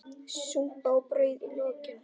Súpa og brauð í lokin.